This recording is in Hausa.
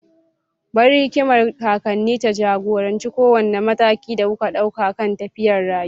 Bari hikimar kakanni ta ja-goranci kowane mataki da kuka ɗauka kan tafiyar rayuwa.